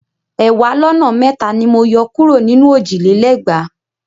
Ẹ̀wàá lọ́nà mẹ́ta ni mo yọ kúrò nínú òjì lé lẹ́gbàá.